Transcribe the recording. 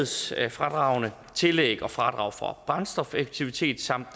sikkerhedsfradragene tillæg og fradrag for brændstofeffektivitet samt